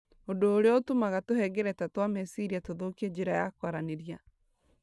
ũndũ ũrĩa ũtũmaga tũhengereta twa meciria tũthũkie njĩra ya kwaranĩria.